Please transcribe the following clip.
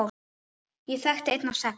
Ég þekkti einn af sex!